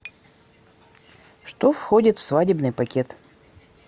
что входит в свадебный пакет